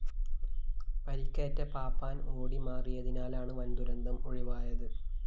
പരിക്കേറ്റ പാപ്പാന്‍ ഓടിമാറിയതിനാലാണ് വന്‍ദുരന്തം ഒഴിവായത്